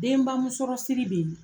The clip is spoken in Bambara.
Denba musɔrɔ siri be ye